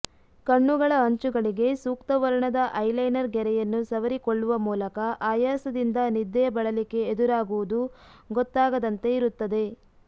ಕಣ್ಣುಗಳ ಅಂಚುಗಳಿಗೆ ಸೂಕ್ತವರ್ಣದ ಐ ಲೈನರ್ ಗೆರೆಯನ್ನು ಸವರಿಕೊಳ್ಳುವ ಮೂಲಕ ಆಯಾಸದಿಂದ ನಿದ್ದೆಯ ಬಳಲಿಕೆ ಎದುರಾಗುವುದು ಗೊತ್ತಾಗದಂತೆ ಇರುತ್ತದೆ